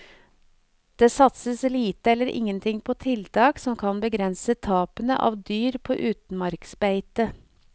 Det satses lite eller ingenting på tiltak som kan begrense tapene av dyr på utmarksbeite.